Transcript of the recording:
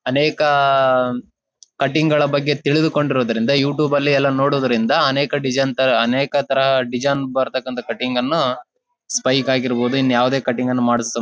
ಅನೇಕ ಕಟ್ಟಿಂಗ್ಗಳ ಬಗ್ಗೆ ತಿಳಿದುಕೊಂಡಿರುವುದರಿಂದ ಯೂಟ್ಯೂಬ್ ಅಲ್ಲಿ ಎಲ್ಲಾ ನೋಡುವುದರಿಂದ ಅನೇಕ ತರ ಡಿಸೈನ್ ತಾರಾ ಅನೇಕ ತರ ಡಿಸೈನ್ ಬರತಕ್ಕ್ನತ್ತ ಕಟ್ಟಿಂಗ್ಗಳನ್ನ ಸ್ಪೈಕ್ ಆಗಿರ್ಬಹುದು ಇನ್ ಯಾವದೇ ಕಟ್ಟಿಂಗ್ಸ್ ಅನ್ನ ಮಾಡಸ--